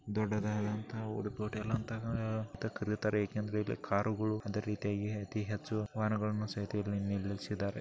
ದೊಡ್ಡದಂಥ Udupi hotel ಅಂತಾನು ಅಂತ ಕರೆಯುತಾರೆ. ಏಕೆ ಅಂದ್ರೆ ಇದು ಕಾರು ಗಳು ಅದೆ ರೀತಿಹಾಗಿ ಅತಿ ಹೆಚ್ಚು ವಾಹನಗಳನ್ನು ಸಹಿತ ನಿಲ್ಲಿಸಿದ್ದಾರೆ.